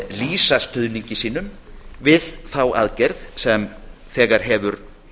lýsa stuðningi sínum við þá aðgerð sem þegar hefur